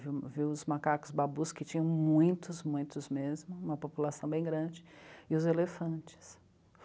Viu os macacos babus, que tinham muitos, muitos mesmo, uma população bem grande, e os elefantes.